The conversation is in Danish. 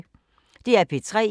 DR P3